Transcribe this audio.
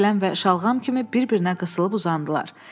Kələm və şalğam kimi bir-birinə qısılıb uzandılar.